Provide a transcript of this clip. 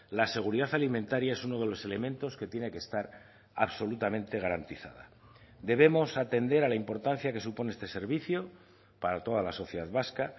la seguridad alimentaria es uno de los elementos que tiene que estar absolutamente garantizada debemos atender a la importancia que supone este servicio para toda la sociedad vasca